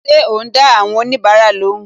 Ṣé o n da awon onibara lóhùn